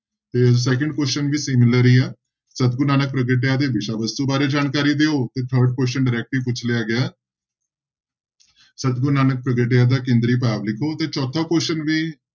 ਤੇ second question ਵੀ similar ਹੀ ਆ, ਸਤਿਗੁਰੁ ਨਾਨਕ ਪ੍ਰਗਟਿਆ ਦੇ ਵਿਸ਼ਾ ਵਸਤੂ ਬਾਰੇ ਜਾਣਕਾਰੀ ਦਓ ਤੇ third question directly ਪੁੱਛ ਲਿਆ ਗਿਆ ਸਤਿਗੁਰੁ ਨਾਨਕ ਪ੍ਰਗਟਿਆ ਦਾ ਕੇਂਦਰੀ ਭਾਵ ਲਿਖੋ ਤੇ ਚੌਥਾ question ਵੀ